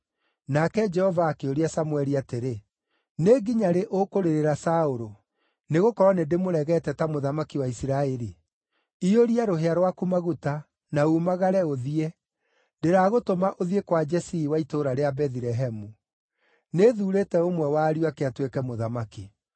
Nake Jehova akĩũria Samũeli atĩrĩ, “Nĩ nginya rĩ ũkũrĩrĩra Saũlũ, nĩgũkorwo nĩndĩmũregete ta mũthamaki wa Isiraeli? Iyũria rũhĩa rwaku maguta, na umagare, ũthiĩ; ndĩragũtũma ũthiĩ kwa Jesii wa itũũra rĩa Bethilehemu. Nĩthuurĩte ũmwe wa ariũ ake atuĩke mũthamaki.”